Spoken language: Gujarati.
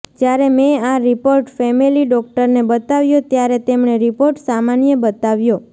જ્યારે મે આ રિપોર્ટ ફેમિલી ડોક્ટરને બતાવ્યો ત્યારે તેમણે રિપોર્ટ સામાન્ય બતાવ્યો